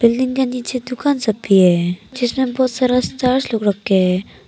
Building के नीचे दुकान सब भी है जिसमें बहुत सारा लोग रक्खे है।